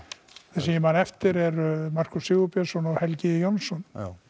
sem ég man eftir eru Markús Sigurbjörnsson og Helgi Jónsson